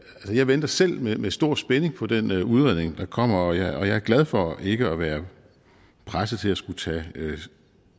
jeg venter selv med stor spænding på den udredning der kommer og jeg er glad for ikke at være presset til at skulle tage